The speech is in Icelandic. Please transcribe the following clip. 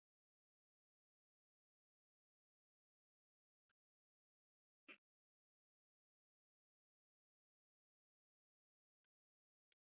Óskar leikmaður Neista Hefurðu skorað sjálfsmark?